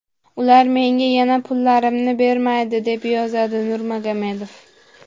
Ular menga yana pullarimni bermaydi”, deb yozadi Nurmagomedov.